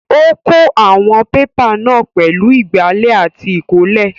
Ó kó àwọn pépà náà pẹ̀lú ìgbálẹ̀ àti ìkọ́lé.